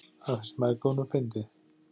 Það finnst mæðgunum fyndið.